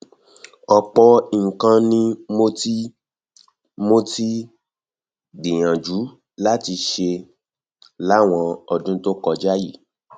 ọpọ nǹkan ni mo ti um mo ti um gbìyànjú láti ṣe láwọn ọdún tó kọjá yìí